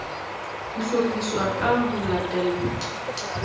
ho hlophiswa ka ho latela